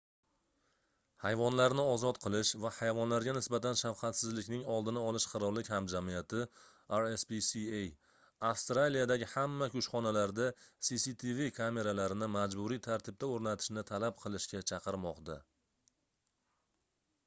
hayvonlarni ozod qilish va hayvonlarga nisbatan shafqatsizlikning oldini olish qirollik hamjamiyati rspca avstraliyadagi hamma kushxonalarda cctv kameralarini majburiy tartibda o'rnatishni talab qilishga chaqirmoqda